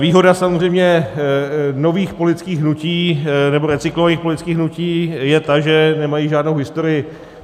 Výhoda samozřejmě nových politických hnutí nebo recyklovaných politických hnutí je ta, že nemají žádnou historii.